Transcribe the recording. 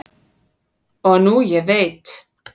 og nú ég veit